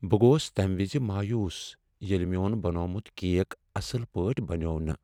بہٕ گوٚوس تمہ وز مایوس ییٚلہ میون بنومُت کیک اصل پٲٹھۍ بنیووو نہٕ ۔